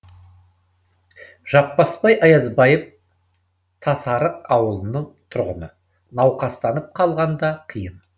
жаппасбай аязбаев тасарық ауылының тұрғыны науқастанып қалғанда қиын